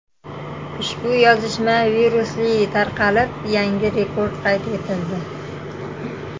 Ushbu yozishma virusli tarqalib, yangi rekord qayd etildi.